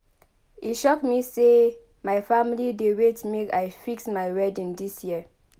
E shock me sey my family dey wait make I fix my wedding dis year